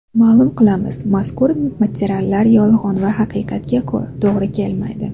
Ma’lum qilamiz, mazkur materiallar yolg‘on va haqiqatga to‘g‘ri kelmaydi.